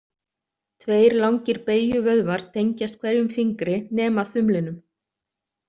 Tveir langir beygjuvöðvar tengjast hverjum fingri nema þumlinum.